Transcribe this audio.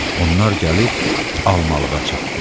Onlar gəlib almalığa çatdılar.